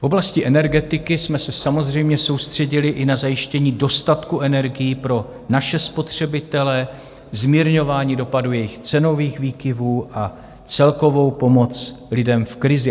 V oblasti energetiky jsme se samozřejmě soustředili i na zajištění dostatku energií pro naše spotřebitele, zmírňování dopadů jejich cenových výkyvů a celkovou pomoc lidem v krizi.